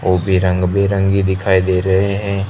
वो भी रंग बिरंगी दिखाई दे रहे हैं।